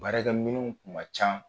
Baarakɛ minniw kuma ca